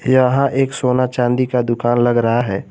यहां एक सोना चांदी का दुकान लग रहा है।